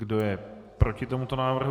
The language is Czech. Kdo je proti tomuto návrhu?